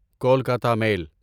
Kolkata میل